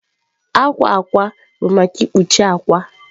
Akwa akwa bụ maka ikpuchi akwa